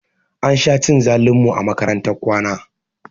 Ansha cin zalin mu a makarantar kwana